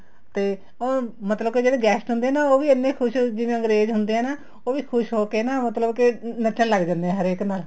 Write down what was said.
ਤੇ ਉਹ ਮਤਲਬ ਕੇ ਜਿਹੜੇ guest ਹੁੰਦੇ ਨਾ ਉਹ ਵੀ ਐਨੇ ਖ਼ੁਸ਼ ਜਿਵੇਂ ਅੰਗਰੇਜ ਹੁੰਦੇ ਨਾ ਉਹ ਵੀ ਖ਼ੁਸ਼ ਹੋਕੇ ਨਾ ਮਤਲਬ ਕੇ ਨੱਚਣ ਲੱਗ ਜਾਂਦੇ ਹੈ ਹਰੇਕ ਨਾਲ